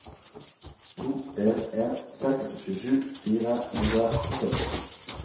to en en seks tjuesju fire hundre og sytti